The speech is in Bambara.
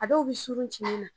A dɔw bɛ surun ci ne na.